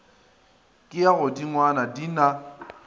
ke ya godingwana di na